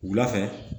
Wula fɛ